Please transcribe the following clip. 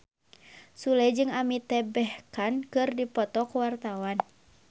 Sule jeung Amitabh Bachchan keur dipoto ku wartawan